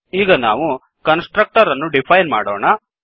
ಈಗ ನಾವು constructor ಅನ್ನು ಡಿಫೈನ್ ಮಾಡೋಣ